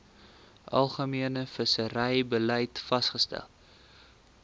algemene visserybeleid vasgestel